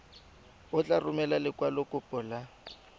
o tla romela lekwalokopo la